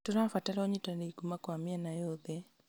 Tũrabatara ũnyitanĩri kuuma kwa mĩena yothe